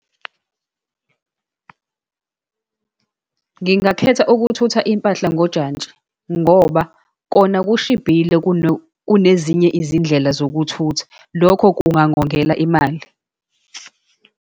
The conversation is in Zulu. Ngingakhetha ukuthutha impahla ngojantshi, ngoba kona kushibhile kunezinye izindlela zokuthutha. Lokho kungangongela imali.